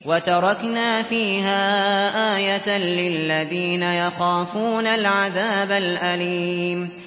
وَتَرَكْنَا فِيهَا آيَةً لِّلَّذِينَ يَخَافُونَ الْعَذَابَ الْأَلِيمَ